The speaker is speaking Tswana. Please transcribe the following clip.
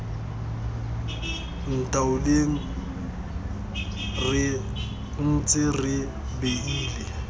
ntaoleng re ntse re beile